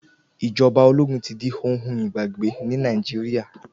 Ìjọba ológun tí di ohun igbàgbé ní Nàìjíríà